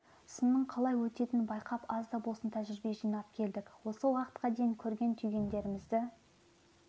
сынның қалай өтетінін байқап аз да болса тәжірибе жинап келдік осы уақытқа дейін көрген түйгендерімізді